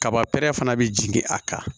Kaba pɛrɛn fana bɛ jigin a kan